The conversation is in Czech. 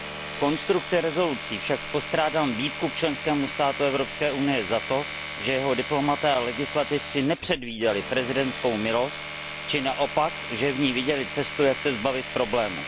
V obsahu usnesení však postrádám výtku členskému státu Evropské unie za to, že jeho diplomaté a legislativci nepředvídali prezidentskou milost, či naopak, že v ní viděli cestu, jak se zbavit problému.